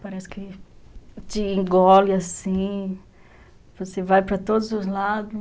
Parece que te engole assim, você vai para todos os lados.